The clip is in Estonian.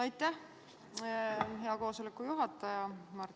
Aitäh, hea koosoleku juhataja!